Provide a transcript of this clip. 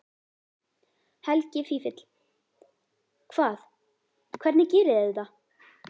Helgi Vífill: Hvað, hvernig gerið þið þetta?